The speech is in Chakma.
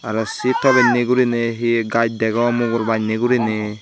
aro sei tolenni gurinei hi gaaz degonng mugor banney gurinei.